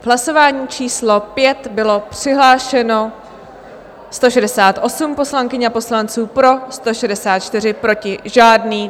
V hlasování číslo 5 bylo přihlášeno 168 poslankyň a poslanců, pro 164, proti žádný.